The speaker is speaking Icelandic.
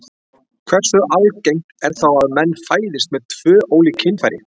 Hversu algengt er þá að menn fæðist með tvö ólík kynfæri?